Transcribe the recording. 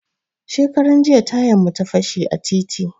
Shekaran jiya tayan mu ya fashe a titi